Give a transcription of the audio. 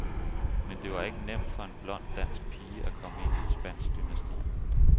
Men det var ikke nemt for en blond dansk pige, at komme ind i et spansk dynasti.